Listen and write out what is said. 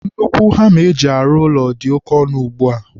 nnukwu hama eji arụ ụlọ dị oke ọnụ ugbua.